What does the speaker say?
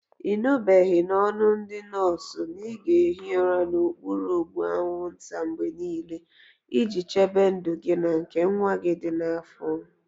Ị nụbeghị n'ọnụ ndị nọọsụ na ị ga-ehi ụra n'okpuru ụgbụ anwụnta mgbe niile, iji chebe ndụ gị na nke nwa gị dị n'afọ?